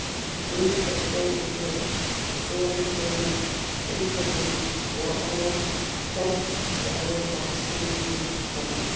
Auk þess gætir hér svolítillar einföldunar á fjarlægðarskynjun manna.